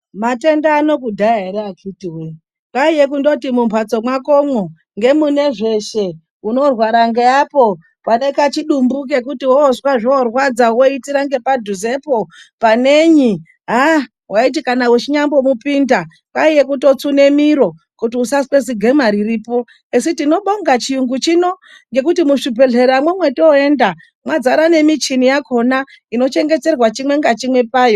Matenda ano kudhaya ere akhiti woye kwaiye kundoti mumhatso mwakomwo ngemune zveshe, unorwara ngeapo, pane kachidumbu kekuti woozwe zvorwadza woitira ngepadhuzepo panenyi haa waiti kana wechinyamupinda kwaiye kutsune miro kuti usazwe zigwema riripo. Esi tinobonga chiyungu chino ngekuti muzvibhedhleramwo mwotoenda mwadzara nemichini yakhona inochengeterwa chimwe ngachimwe payo.